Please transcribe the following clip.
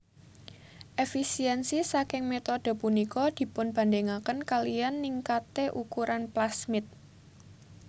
Efisiensi ssaking metode punika dipunbandingaken kaliyan ningkate ukuran plasmid